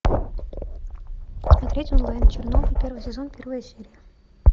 смотреть онлайн чернобыль первый сезон первая серия